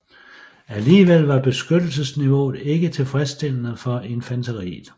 Alligevel var beskyttelsesniveauet ikke tilfredsstillende for infanteriet